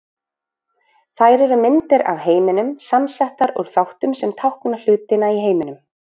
Þær eru myndir af heiminum, samsettar úr þáttum sem tákna hlutina í heiminum.